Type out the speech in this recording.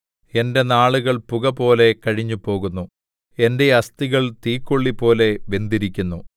എന്റെ നാളുകൾ പുകപോലെ കഴിഞ്ഞുപോകുന്നു എന്റെ അസ്ഥികൾ തീക്കൊള്ളിപോലെ വെന്തിരിക്കുന്നു